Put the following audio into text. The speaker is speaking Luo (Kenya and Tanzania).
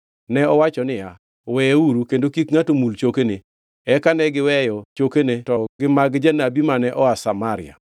Ne owacho niya, “Weyeuru, kendo kik ngʼato mul chokene.” Eka ne giweyo chokene to gi mag janabi mane oa Samaria.